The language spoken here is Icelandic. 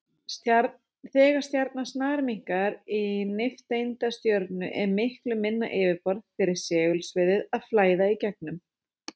Þegar stjarnan snarminnkar í nifteindastjörnu er miklu minna yfirborð fyrir segulsviðið að flæða í gegnum.